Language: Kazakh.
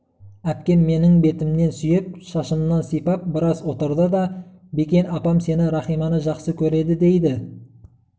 әпкем менің бетімнен сүйіп шашымнан сипап біраз отырды да бекен апам сені рахиманы жақсы көреді дейді